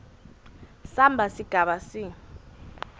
samba sigaba c